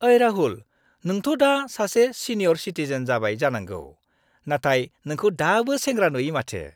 ओइ राहुल, नोंथ' दा सासे सिनियर सिटिजेन जाबाय जानांगौ, नाथाय नोंखौ दाबो सेंग्रा नुयो माथो।